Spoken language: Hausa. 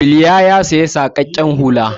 Bilya ya saya saƙaƙƙen hula.